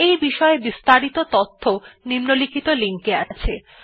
এই বিষয় বিস্তারিত তথ্য নিম্নলিখিত লিঙ্ক এ আছে